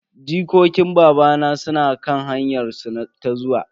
Jikokin babana suna kan hanyar su ta zuwa.